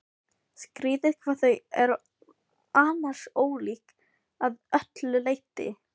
Skrýtið hvað þau eru annars ólík að öllu leyti.